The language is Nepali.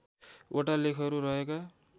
वटा लेखहरू रहेका